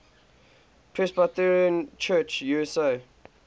presbyterian church usa